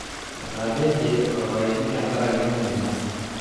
Etapeje orpayeki tenkaraki emoyian